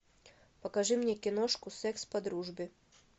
покажи мне киношку секс по дружбе